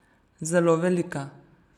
Zelo velika.